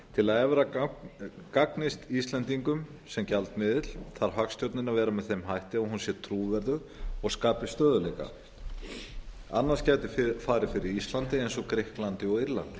til að evra gagnist íslendingum sem gjaldmiðill þarf hagstjórnin að vera með þeim hætti að hún sé trúverðug og skapi stöðugleika annars gæti farið fyrir íslandi eins og grikklandi og írlandi